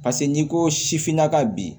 Paseke n'i ko sifinnaka ka bi